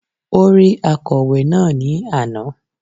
Ó rí akọ̀wé náà ni àná